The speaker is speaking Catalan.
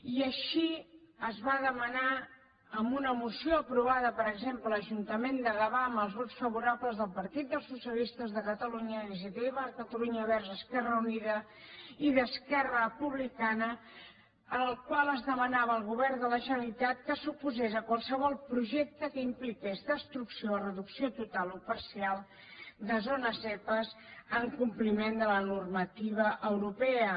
i així es va demanar en una moció aprovada per exemple a l’ajuntament de gavà amb els vots favorables del partit dels socialistes de catalunya d’iniciativa per catalunya verds esquerra unida i d’esquerra republicana en la qual es demanava al govern de la generalitat que s’oposés a qualsevol projecte que impliqués destrucció o reducció total o parcial de zones zepa en compliment de la normativa europea